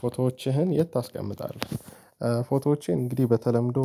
ፎቶዎችህን የት ታስቀምጣለህ? ፎቶዎቼ እንግዲህ በተለምዶ